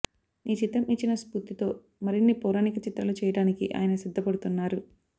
ఈ చిత్రం ఇచ్చిన స్ఫూర్తితో మరిన్ని పౌరాణిక చిత్రాలు చేయడానికి ఆయన సిద్ధపడుతున్నారు